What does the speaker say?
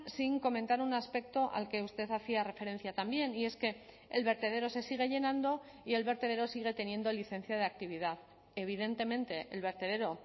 sin comentar un aspecto al que usted hacía referencia también y es que el vertedero se sigue llenando y el vertedero sigue teniendo licencia de actividad evidentemente el vertedero